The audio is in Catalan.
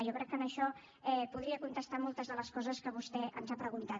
jo crec que amb això podria contestar moltes de les coses que vostè ens ha preguntat